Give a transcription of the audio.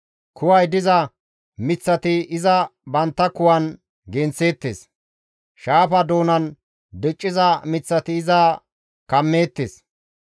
Kuway diza miththati iza bantta kuwan genththeettes; shaafa doonan dicciza miththati iza kammeettes.